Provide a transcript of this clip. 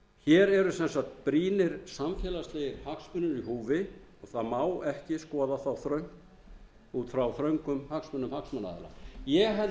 ákvæði hér eru sem sagt brýnir samfélagslegir hagsmunir í húfi það má ekki skoða þá út frá þröngum hagsmunum hagsmunaaðila ég held